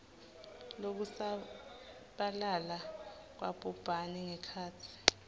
lokusabalala kwabhubhane ngekhatsi